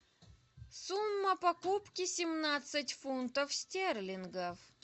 сумма покупки семнадцать фунтов стерлингов